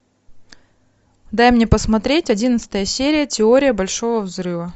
дай мне посмотреть одиннадцатая серия теория большого взрыва